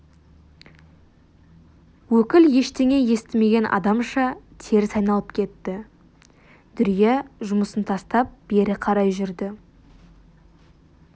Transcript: өкіл ештеңе естімеген адамша теріс айналып кетті дүрия жұмысын тастап бері қарай жүрді